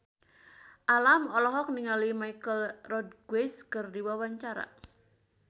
Alam olohok ningali Michelle Rodriguez keur diwawancara